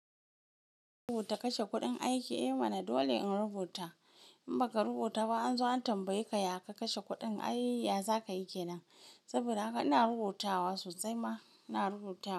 Rubuta kashe kuɗin aiki, eh mana dole in rubuta. In baka rubuta ba an zo an tambaye ka ya ka kashe kuɗin? Ai ya za ka yi ke nan? Saboda haka ina rubutawa sosai ma ina rubuta.